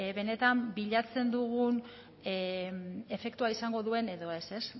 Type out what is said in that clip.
benetan bilatzen dugun efektua izango duen edo ez ez